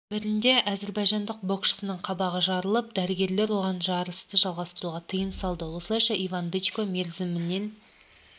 бірінде әзербайжандық боксшының қабағы жыртылып дәрігерлер оған жарысты жалғастыруға тыйым салды осылайша иван дычко мерзімінен